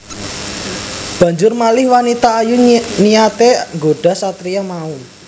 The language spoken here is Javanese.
Banjur malih wanita ayu niyaté nggodha satriya mau